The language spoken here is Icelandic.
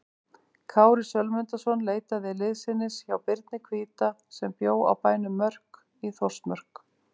Kári Sölmundarson leitaði liðsinnis hjá Birni hvíta sem bjó á bænum Mörk í Þórsmörk.